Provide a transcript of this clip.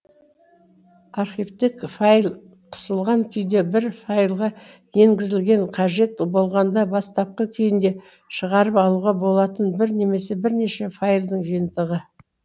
архивтік файл қысылған күйде бір файлға енгізілген қажет болғанда бастапқы күйінде шығарып алуға болатын бір немесе бірнеше файлдың жиынтығы